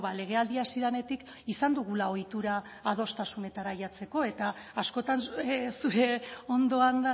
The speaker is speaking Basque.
legealdia hasi denetik izan dugula ohitura adostasunetara ailegatzeko eta askotan zure ondoan